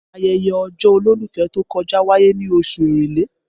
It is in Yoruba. Ayẹyẹ ọjọ́ olólùfẹ́ tó kọjá wáyé ní oṣù èrèlé